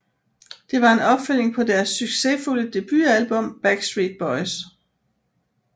Det var en opfølgning på deres succesfulde debutalbum Backstreet Boys